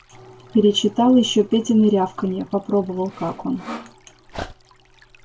перечитал ещё петины рявканья попробовал как он